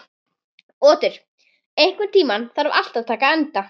Otur, einhvern tímann þarf allt að taka enda.